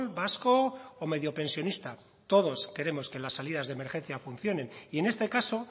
vasco o medio pensionista todos queremos que las salidas de emergencia funcionen y en este caso